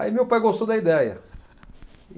Aí meu pai gostou da ideia.